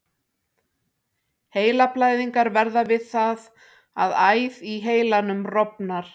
Heilablæðingar verða við það að æð í heilanum rofnar.